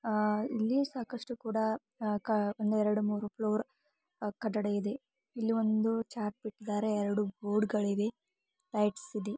ಆ ಇಲ್ಲಿ ಸಾಕಷ್ಟು ಕೂಡ ಆ ಕ ಒಂದೆರೆಡು ಮೂರೂ ಫ್ಲೋರ್ ಆ ಕಟ್ಟಡ ಇದೆ ಇಲ್ಲಿ ಒಂದು ಚಾರ್ಪ್ ಇಟ್ಟಿದ್ದಾರೆ ಎರೆಡು ಬೋರ್ಡ್ ಗಳಿವೆ ಲೈಟ್ಸ್ ಇದೆ.